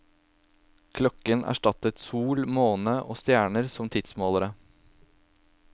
Klokken erstattet sol, måne og stjerner som tidsmålere.